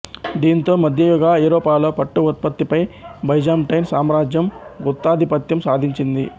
దీంతో మధ్యయుగ ఐరోపాలో పట్టు ఉత్పత్తిపై బైజాంటైన్ సామ్రాజ్యం గుత్తాధిపత్యం సాధించింది